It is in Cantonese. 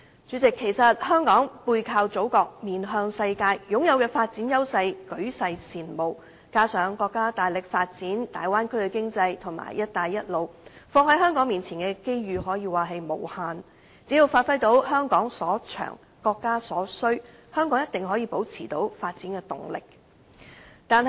主席，香港背靠祖國，面向世界，擁有舉世羨慕的發展優勢，加上國家大力發展大灣區經濟及"一帶一路"，放在香港面前的機遇可說是無限，只要發揮到"香港所長，國家所需"，香港一定可以保持發展動力。